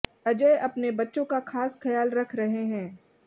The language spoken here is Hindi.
अजय अपने बच्चों का खास ख्याल रख रहे हैं